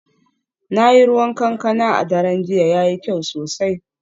Na yi ruwan kankana a daren jiya, yayi kyau sosai